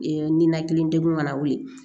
Ee ninakili degun ka na wuli